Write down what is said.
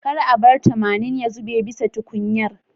Kar a bar tamanin ya zube bisa tukunyar